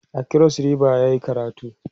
a kros ribas yayi karatu